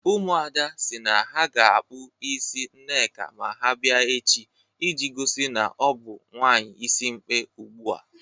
Ụmụada si na ha ga-akpọ isi Nneka ma ha bịa echi iji gosi na ọ bụ nwaanyị isimkpi ugbu a.